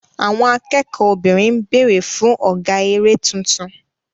Àwọn akẹ́kọ̀ọ́ obìnrin ń béèrè fún ọ̀gá eré tuntun.